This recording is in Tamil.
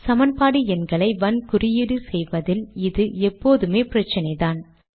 சமன்பாடு எண்களை வன் குறியீடு செய்வதில் இது எப்போதுமே பிரச்சினைதான்